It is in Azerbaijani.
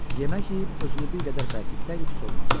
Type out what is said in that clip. Yemək yeyib özünü bir qədər bərkitsəydi pis olmazdı.